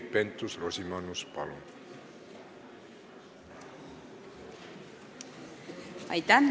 Keit Pentus-Rosimannus, palun!